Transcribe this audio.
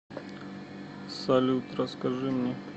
салют расскажи мне